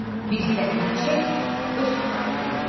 Bir zəhmət çək, öz proyektini ver bura.